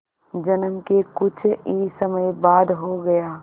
जन्म के कुछ ही समय बाद हो गया